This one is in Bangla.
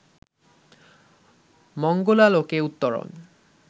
মঙ্গলালোকে উত্তরণ